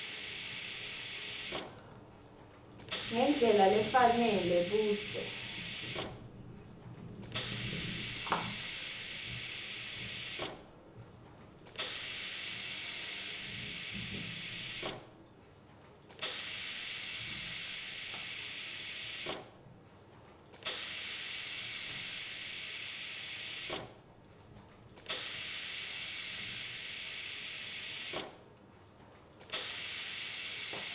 ngendlela lefanele budze